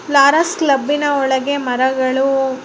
ಫ್ಲಾರಸ್ ಕ್ಲಬ್ಬಿನ ಒಳಗೆ ಮರಗಳು --